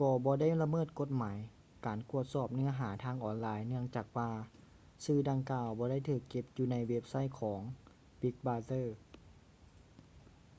ກໍບໍ່ໄດ້ລະເມີດກົດໝາຍການກວດສອບເນື້ອຫາທາງອອນລາຍເນື່ອງຈາກວ່າສື່ດັ່ງກ່າວບໍ່ໄດ້ຖືກເກັບຢູ່ໃນເວັບໄຊທ໌ຂອງ big brother